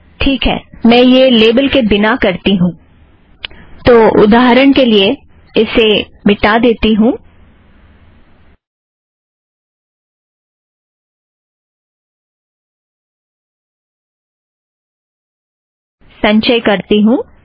ठीक है मैं यह लेबल के बिना करती हूँ तो उदाहरण के लिए इसे मिटा देती हूँ संचय करती हूँ